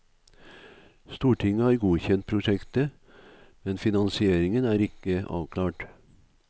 Stortinget har godtkjent prosjektet, men finansieringen er ikke avklart.